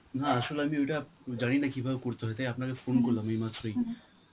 না আসলে আমি ওইটা জানিনা কিভাবে করতে হয়, তাই আপনাকে phone করলাম এইমাত্রই .